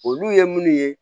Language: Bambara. Olu ye munnu ye